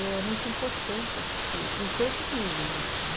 É muito importante, acho que em todos os níveis isso, né?